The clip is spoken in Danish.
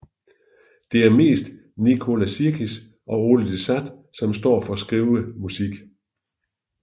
Det er mest Nicola Sirkis og Oli de Sat som står for at skrive musik